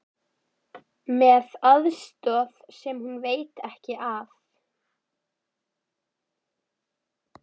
Með aðstoð sem hún veit ekki af.